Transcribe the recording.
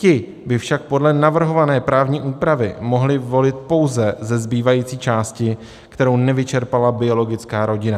Ti by však podle navrhované právní úpravy mohli volit pouze ze zbývající části, kterou nevyčerpala biologická rodina.